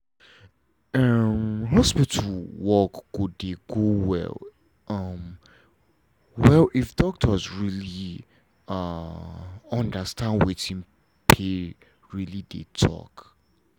hospital work go dey go well um well if doctors really um understand wetin pay really dey talk